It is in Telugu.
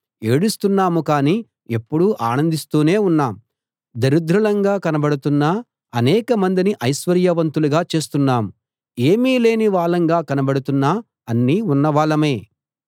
ఏడుస్తున్నాము కానీ ఎప్పుడూ ఆనందిస్తూనే ఉన్నాం దరిద్రులంగా కనబడుతున్నా అనేకమందిని ఐశ్వర్యవంతులుగా చేస్తున్నాం ఏమీ లేని వాళ్ళంగా కనబడుతున్నా అన్నీ ఉన్నవాళ్ళమే